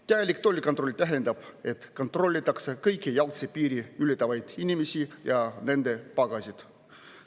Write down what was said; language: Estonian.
Täielik tollikontroll tähendab, et kontrollitakse kõiki jalgsi piiri ületavaid inimesi ja nende pagasit.